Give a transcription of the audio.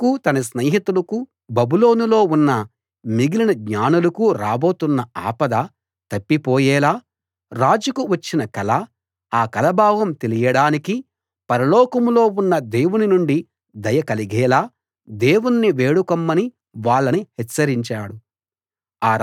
తనకు తన స్నేహితులకు బబులోనులో ఉన్న మిగిలిన జ్ఞానులకు రాబోతున్న ఆపద తప్పిపోయేలా రాజుకు వచ్చిన కల ఆ కల భావం తెలియడానికి పరలోకంలో ఉన్న దేవుని నుండి దయ కలిగేలా దేవుణ్ణి వేడుకొమ్మని వాళ్ళను హెచ్చరించాడు